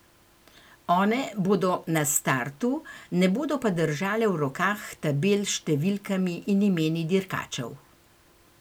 One bodo na startu, ne bodo pa držale v rokah tabel s številkami in imeni dirkačev.